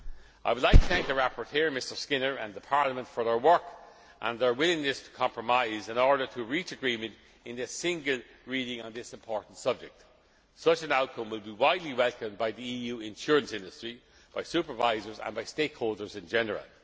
II. I would like to thank the rapporteur, Mr Skinner, and Parliament for their work and their willingness to compromise in order to reach agreement in a single reading on this important subject. Such an outcome will be widely welcomed by the EU insurance industry, by supervisors and by stakeholders in